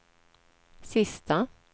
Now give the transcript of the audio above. sista